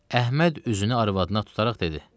Əhməd üzünü arvadına tutaraq dedi.